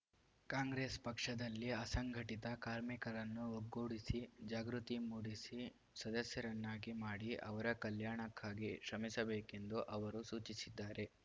ಕಾಂಗ್ರೆಸ್‌ ಪಕ್ಷದಲ್ಲಿ ಅಸಂಘಟಿತ ಕಾರ್ಮಿಕರನ್ನು ಒಗ್ಗೂಡಿಸಿ ಜಾಗೃತಿ ಮೂಡಿಸಿ ಸದಸ್ಯರನ್ನಾಗಿ ಮಾಡಿ ಅವರ ಕಲ್ಯಾಣಕ್ಕಾಗಿ ಶ್ರಮಿಸಬೇಕೆಂದು ಅವರು ಸೂಚಿಸಿದ್ದಾರೆ